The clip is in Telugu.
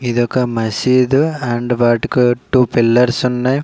ఇదొక మసీదు అండ్ వాటికో టు పిల్లర్స్ ఉన్నాయ్.